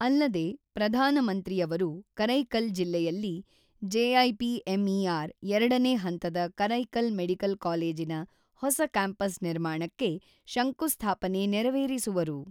ಅಲ್ಲದೆ ಪ್ರಧಾನಮಂತ್ರಿ ಅವರು ಕರೈಕಲ್ ಜಿಲ್ಲೆಯಲ್ಲಿ ಜೆಐಪಿಎಂಇಆರ್ ಎರಡನೇ ಹಂತದ ಕರೈಕಲ್ ಮೆಡಿಕಲ್ ಕಾಲೇಜಿನ ಹೊಸ ಕ್ಯಾಂಪಸ್ ನಿರ್ಮಾಣಕ್ಕೆ ಶಂಕುಸ್ಥಾಪನೆ ನೆರವೇರಿಸುವರು.